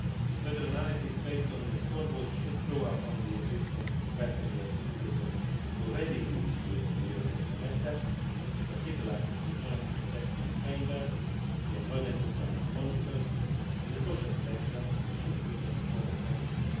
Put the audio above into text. Further analysis based on the scoreboard should draw upon the existing battery of indicators already used during the European Semester, in particular the Joint Assessment Framework, the Employment Performance Monitor and the Social Protection Performance Monitor.